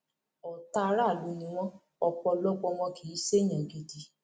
ọtá aráàlú ni wọn ọpọlọpọ wọn kì í ṣèèyàn gidi